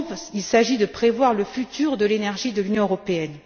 Il s'agit de prévoir le futur de l'énergie de l'Union européenne.